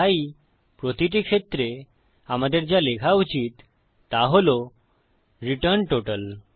তাই প্রতিটি ক্ষেত্রে আমাদের যা লেখা উচিত তা হল রিটার্ন টোটাল